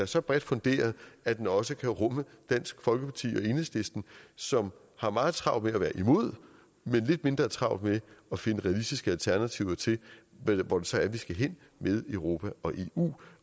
så bredt funderet at den også kan rumme dansk folkeparti og enhedslisten som har meget travlt med at være imod men lidt mindre travlt med at finde realistiske alternativer til hvor det så er vi skal hen med europa og eu